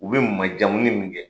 U bi majamuni mun kɛ